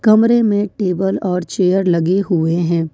कमरे में टेबल और चेयर लगे हुए हैं।